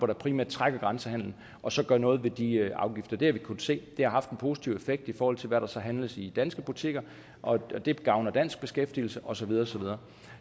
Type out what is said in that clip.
der primært trækker grænsehandelen og så gør noget ved de afgifter det har vi kunnet se har haft en positiv effekt i forhold til hvad der så handles i danske butikker og det gavner dansk beskæftigelse og så videre og så videre